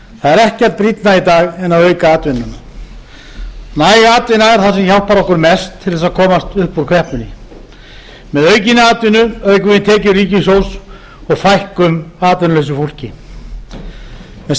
það er ekkert brýnna í dag en að auka atvinnuna næg atvinna er það sem hjálpar okkur mest til þess að komast upp kreppunni með aukinni atvinnu aukum við tekjur ríkissjóðs og fækkum atvinnulausu fólki með